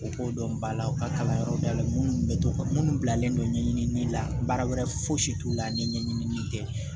U ko dɔn balaw ka kalanyɔrɔ dayɛlɛ minnu bɛ to ka minnu bilalen don ɲɛɲinili la baara wɛrɛ foyi si t'u la ni ɲɛɲinin tɛ